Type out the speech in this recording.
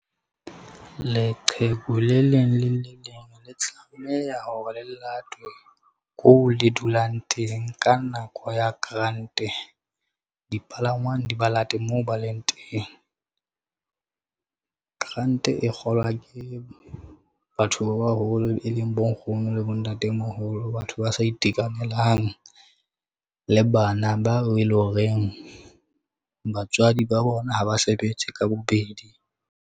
Leqheku le leng le le leng le tlameha ho ba le latwe ko le dulang teng. Ka nako ya grant-e dipalangwang di ba late moo ba leng teng. Grant-e kgolwa ke batho ba baholo, e leng bo nkgono le bo ntatemoholo. Batho ba sa itekanelang le bana bao e leng horeng batswadi ba bona ha ba sebetse ka bobedi?